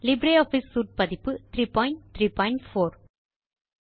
LibreOffice suite பதிப்பு 334